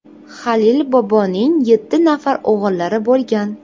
Halil boboning yetti nafar o‘g‘illari bo‘lgan.